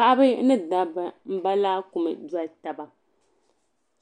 Paɣiba ni dabba m-ba laakuma n-doli taba.